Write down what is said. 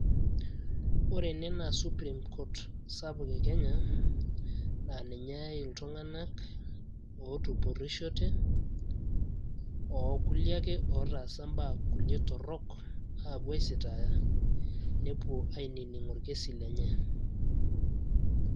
Ore ene naa supreme court sapuk e Kenya , naa ninye eyay iltung'anak ootupurushote ,ookulie ake ootasa kulie baa torok aapuo aisitaaya nepuo ainining orkesi lenye .